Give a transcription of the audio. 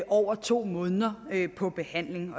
over to måneder på behandling